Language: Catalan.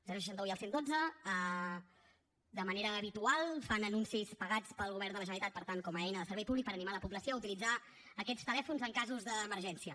el seixanta un i el cent i dotze de manera habitual fan anuncis pagats pel govern de la generalitat per tant com a eina de servei públic per animar la població a utilitzar aquests telèfons en casos d’emergència